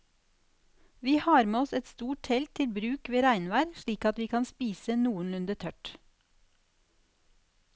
Vi har med oss et stort telt til bruk ved regnvær slik at vi kan spise noenlunde tørt.